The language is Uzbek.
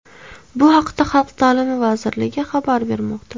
Bu haqda Xalq ta’limi vazirligi xabar bermoqda .